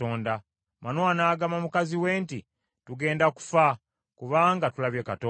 Manowa n’agamba mukazi we nti, “Tugenda kufa kubanga tulabye Katonda.”